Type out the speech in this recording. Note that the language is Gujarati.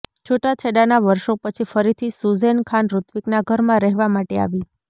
છૂટાછેડાના વર્ષો પછી ફરીથી સુઝેન ખાન ઋત્વિકના ઘરમાં રહેવા માટે આવી